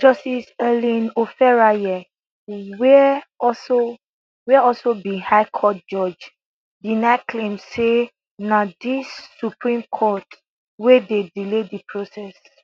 justice ellen oferayeh wia also wia also be high court judge deny claims say na di supreme court wey dey delay di process